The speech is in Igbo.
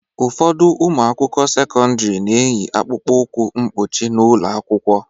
Ụfọdụ ụmụ akwụkwọ sekọndrị na-eyi akpụkpọ ụkwụ mkpuchi n'ụlọ akwụkwọ.